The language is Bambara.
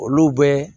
Olu bɛ